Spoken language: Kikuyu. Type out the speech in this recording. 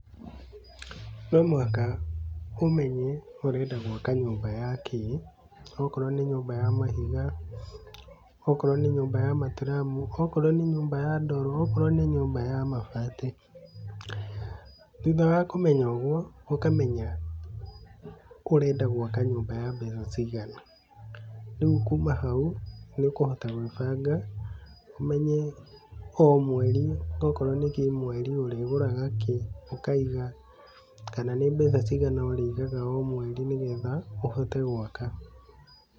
No mũhaka ũmenye ũrenda gwaka nyũmba ya kĩ, okorwo nĩ nyũmba ya mahiga, okorwo nĩ nyũmba ya maturamu, okorwo nĩ nyũmba ya ndoro, okorwo nĩ nyũmba ya mabati. Thutha wa kũmenya oguo, ũkamenya ũrenda gwaka nyũmba ya mbeca cigana, rĩu kuma hau, nĩũkũhota kwĩbaga ũmenye o mweri, okorwo nĩ kĩmwĩri ũrĩgũraga kĩ ũkaiga, kana nĩ mbeca cigana ũrĩigaga o mweri, nĩgetha ũhote gwaka.